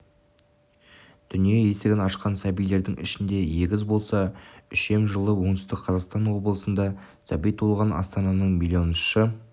дүние есігін ашқан сәбилердің ішінде егіз болса үшем жылы оңтүстік қазақстан облысында сәби туылған астананың миллионыншы